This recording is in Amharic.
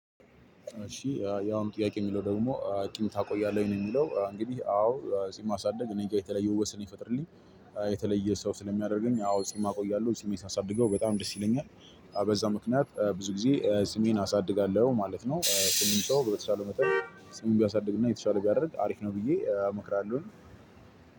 እሺ ያሁኑ ጥያቄ የሚለው ደግሞ ጺም ታቆያለህ ወይ? ነው የሚለው እንግዲህ አዎ ጺም ማሳደግ እኔ ጋር የተለየ ውበት ስለሚፈጠርልኝ። የተለየ ሰው ስለሚያደርገኝ አዎ ጺም እቆያለሁ ጺሜን ሳሳድገው በጣም ደስ ይለኛል። በዛ ምክንያት ብዙ ጊዜ ጺሜን አሳድጋለሁ ማለት ነው። ሁሉም ሰው በተቻለው መጠን ጺሙን ቢያሳድግና የተሻለ ቢያደርግ አሪፍ ነው ብዬ እመክራለሁ።